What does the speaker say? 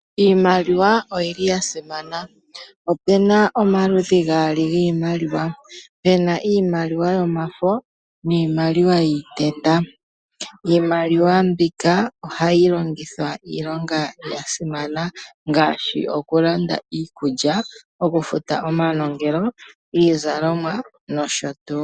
Iimaliwa oyili ya simana opuna omaludhi gaali giimaliwa puna iimaliwa yomafo niimaliwa yiiteta. Iimaliwa mbika ohayi longithwa iilonga ya simana ngaashi okulanda iikulya okufuta omanongelo, iizalomwa nosho tuu.